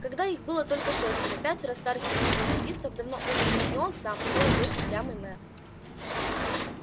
тогда их было только шестеро пятеро старых энциклопедистов давно умерших и он сам молодой упрямый мэр